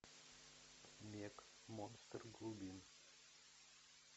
мег монстр глубин